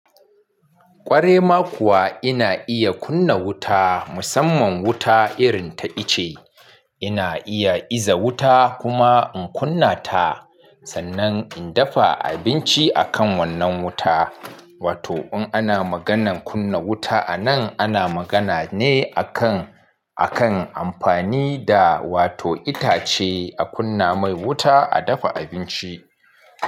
Ƙware ma kuwa ina iya kunna wuta, musamman wuta irin ta ice. Ina iya iza wuta kuma in kunna ta, sannan in dafa abinci akan wannan wuta. Wato in ana maganan kunna wuta anan, ana magana ne akan, akan amfani da wato itace a kunna mai wuta a dafa abinci.